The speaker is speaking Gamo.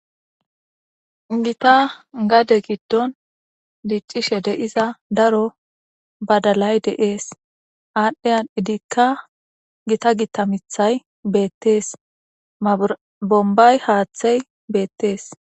gita gade giddon diiccishe de'iza daro badalay de7ees aadhdhiyan idikka gita gita mithay beettees bombay haaththey beettees